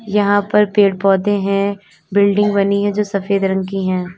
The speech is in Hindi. यहां पर पेड़ पौधे हैं बिल्डिंग बनी है जो सफेद रंग की है।